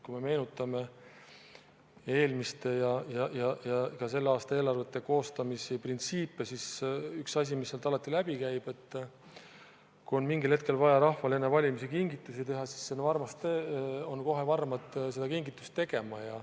Kui me meenutame eelmiste ja ka selle aasta eelarvete koostamise printsiipe, siis üks asi, mis sealt alati läbi on käinud, on see, et kui mingil hetkel on vaja rahvale enne valimisi kingitusi teha, siis ollakse kohe varmad seda kingitust tegema.